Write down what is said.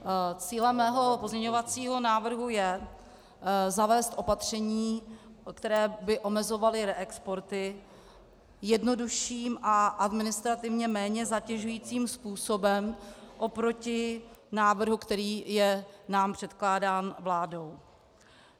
Cílem mého pozměňovacího návrhu je zavést opatření, která by omezovala reexporty, jednodušším a administrativně méně zatěžujícím způsobem oproti návrhu, který je nám předkládán vládou.